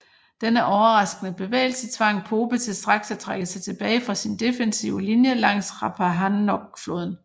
Denne overraskende bevægelse tvang Pope til straks at trække sig tilbage fra sin defensive linje langs Rappahannockfloden